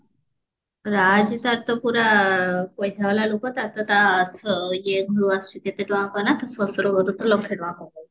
ରାଜ ତାର ତ ପୁରା ପଇସା ୱାଲା ଲୋକ ତାର ତ ତା ଇଏ ଘରୁ ଆସୁଛି କେତେ ଟଙ୍କା କାହା ନା ତାଶଶୁର ଘରୁ ତ ଆସୁଛି ଲକ୍ଷେ ଟଙ୍କା କମଉଥିଲା